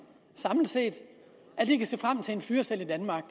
samlet set kan se frem til en fyreseddel i danmark